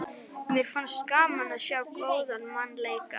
Mér finnst gaman að sjá góðan mann leika.